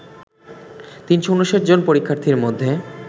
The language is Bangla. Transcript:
৩৫৯ জন পরীক্ষার্থীর মধ্যে